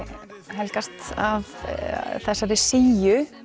helgast af þessari síu